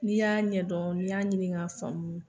N'i y'a ɲɛdɔn n'i y'a ɲini k'a faamu.